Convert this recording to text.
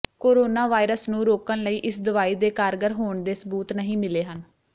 corona virus ਨੂੰ ਰੋਕਣ ਲਈ ਇਸ ਦਵਾਈ ਦੇ ਕਾਰਗਰ ਹੋਣ ਦੇ ਸਬੂਤ ਨਹੀਂ ਮਿਲੇ ਹਨ